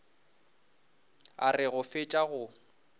a re go fetša go